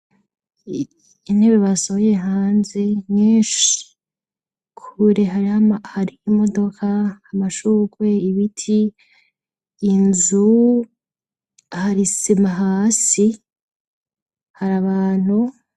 Intebe basohoye hanze nyinshi. kure hari'imodoka, amashurwe, ibiti ,inzu hari sima hasi, hari abantu.